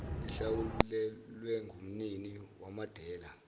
ihlawulwe ngumnini wamadela